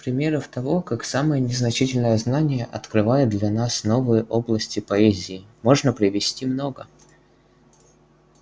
примеров того как самое незначительное знание открывает для нас новые области поэзии можно привести много